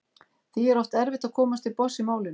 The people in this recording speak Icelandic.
Því er oft erfitt að komast til botns í málinu.